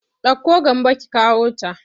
Ɗauko Gambo ki kawota!